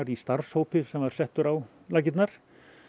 í starfshópi sem var settur á laggirnar